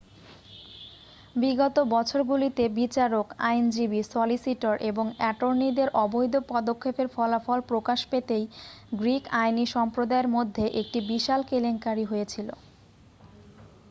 বিগত বছরগুলিতে বিচারক আইনজীবী সলিসিটর এবং অ্যাটর্নিদের অবৈধ পদক্ষেপের ফলাফল প্রকাশ পেতেই গ্রীক আইনী সম্প্রদায়ের মধ্যে একটি বিশাল কেলেঙ্কারী হয়েছিল